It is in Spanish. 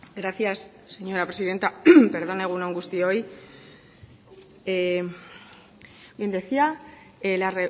gracias señora presidenta egun on guztioi bien decía la